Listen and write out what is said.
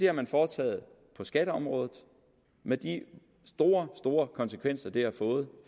har man foretaget på skatteområdet med de store store konsekvenser det har fået